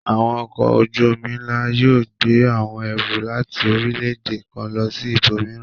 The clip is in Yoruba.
Àwọn ọkọ̀ ojú-omi ńlá yóò gbé àwọn ẹrù láti orílẹ̀-èdè kan lọ ibòmíràn.